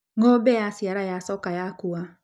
Ng'ombe yaciara yacoka ya kuua